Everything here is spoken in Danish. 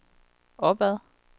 opad